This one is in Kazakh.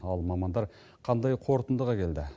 ал мамандар қандай қорытындыға келді